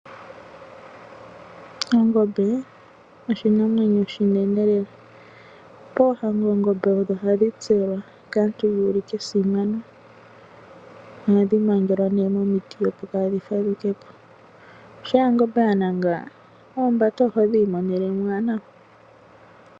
Oongombe oshinamwenyo oshinene lela, poohango oongombe odho hadhi tselwa kaantu yuulike esimano, ohandhi magelwa nee momiti opo kaadhi fadhukepo, shampa ongombe yananga oombati ohodhi imonene mo owala nawa.